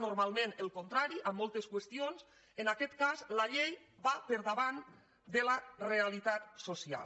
normalment el contrari en moltes qüestions la llei va per davant de la realitat social